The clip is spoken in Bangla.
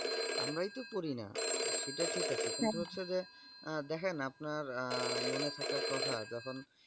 আমরাই তো পড়িনা সেটা ঠিক আছে কিন্তু হচ্ছে যে দেখেন আপনার আ মনে থাকার কথা যখন।